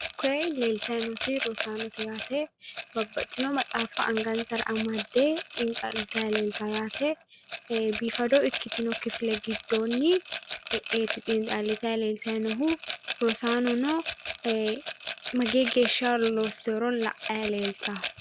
Koye leeltayi nooti rosaanote yaate. Babbaxxitino maxaaffa angansara amadde xiinxallitayi leeltawo yaate. Biifado ikkitino kifile giddoonniti e'eeti xiinxallitayi leeltaayi noohu. Rosaanono mageyi geeshsha loosiworo la"ayi leeltawo.